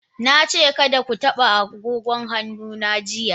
Na ce kada ku taba agogon hannu na jiya.